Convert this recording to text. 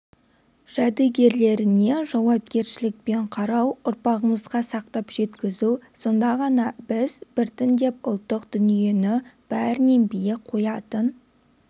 жәдігерлеріне жауапкершілікпен қарау ұрпағымызға сақтап жеткізу сонда ғана біз біртіндеп ұлттық дүниені бәрінен биік қоятын